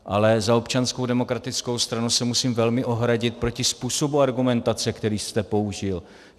Ale za Občanskou demokratickou stranu se musím velmi ohradit proti způsobu argumentace, který jste použil.